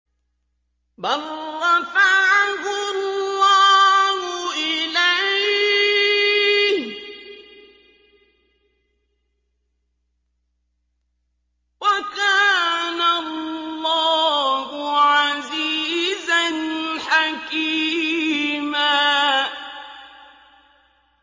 بَل رَّفَعَهُ اللَّهُ إِلَيْهِ ۚ وَكَانَ اللَّهُ عَزِيزًا حَكِيمًا